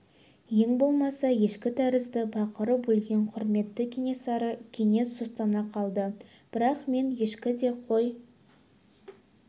ең болмаса ешкі тәрізді бақырып өлген құрметті кенесары кенет сұстана қалды бірақ мен ешкі де қой